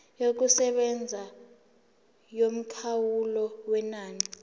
yokusebenza yomkhawulo wenani